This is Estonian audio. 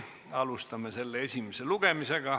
Alustame selle esimest lugemist.